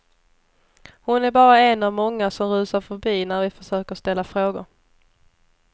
Hon är bara en av många som rusar förbi när vi försöker ställa frågor.